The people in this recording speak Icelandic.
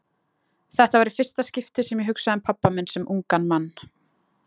Þetta var í fyrsta skipti sem ég hugsaði um pabba minn sem ungan mann.